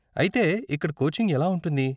అయితే, ఇక్కడ కోచింగ్ ఎలా ఉంటుంది?